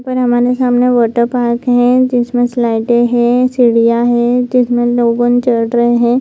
ऊपर हमारे सामने वाटर पार्क है जिसमें स्लाइडे हैं चिड़िया है जिसमें लोगन चढ़ रहे हैं।